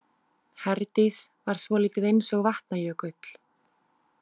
Herdís var svolítið eins og Vatnajökull.